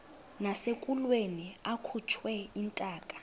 nasekulweni akhutshwe intaka